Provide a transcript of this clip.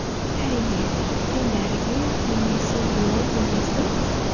әрине мен дәрігер немесе биолог емеспін